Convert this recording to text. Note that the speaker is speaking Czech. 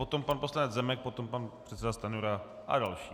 Potom pan poslanec Zemek, potom pan předseda Stanjura a další.